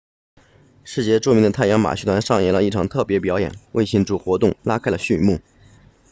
世界著名的太阳马戏团上演了一场特别表演为庆祝活动拉开了序幕